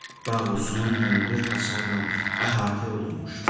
Bağ uzun, hündür hasarla əhatə olunmuşdu.